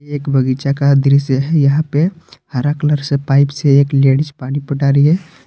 एक बगीचा का दृश्य है यहां पे हरा कलर से पाइप से एक लेडिस पानी पटा रही है।